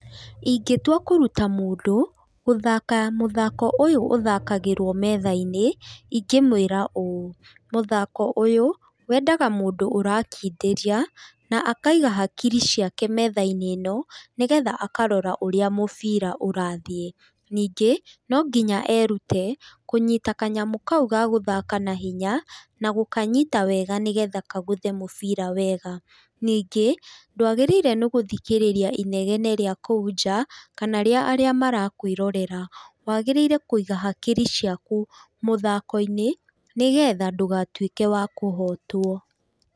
Ingĩtua kũrutta mũndũ mũthako ũyũ ũthakagĩrwo methainĩ, ingĩmwĩra ũũ, mũthako ũyũ wendaga mũndũ ũrakindĩria na akaiga hakiri ciake metha-inĩ ĩno nĩ getha akarora ũrĩa mũbira ũrathiĩ. Ningĩ , no nginya erute kũnyita kanyamũ kau ga gũthaka na hinya na gũkanyita wega nĩgetha kagũthe mũbira wega. Ningĩ, dwagĩrĩirwo nĩ gũthikĩrĩria inegene rĩa kũu nja, kana rĩa arĩa marakwĩrorera, wagĩrĩirwo nĩ kũiga hakiri ciaku mũthako-inĩ, nĩgetha ndũgatuĩke wakũhotwo.